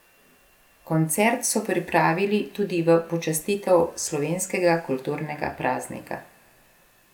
Koncert so pripravili tudi v počastitev slovenskega kulturnega praznika.